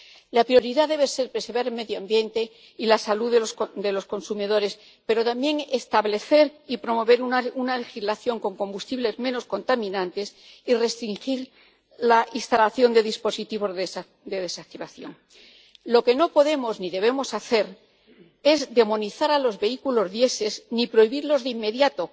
La prioridad debe ser preservar el medio ambiente y la salud de los consumidores, pero también establecer y promover una legislación con combustibles menos contaminantes y restringir la instalación de dispositivos de desactivación. Lo que no podemos ni debemos hacer es demonizar a los vehículos diésel, ni prohibirlos de inmediato,